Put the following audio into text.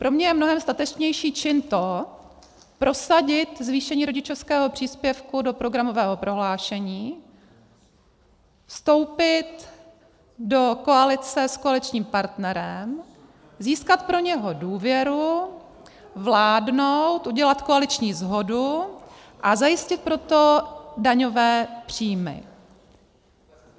Pro mě je mnohem statečnější čin prosadit zvýšení rodičovského příspěvku do programového prohlášení, vstoupit do koalice s koaličním partnerem, získat pro něho důvěru, vládnout, udělat koaliční shodu a zajistit pro to daňové příjmy.